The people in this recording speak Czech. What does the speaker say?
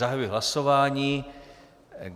Zahajuji hlasování.